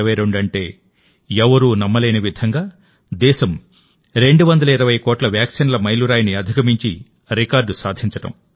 2022 అంటే ఎవరూ నమ్మలేని విధంగా దేశం 220 కోట్ల వాక్సిన్ల మైలు రాయిని అధిగమించి రికార్డు సాధించడం